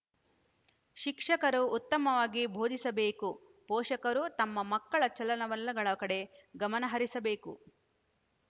ಶಿಕ್ಷಕರು ಉತ್ತಮವಾಗಿ ಬೋಧಿಸಬೇಕು ಪೋಷಕರು ತಮ್ಮ ಮಕ್ಕಳ ಚಲನವಲನಗಳ ಕಡೆ ಗಮನಹರಿಸಬೇಕು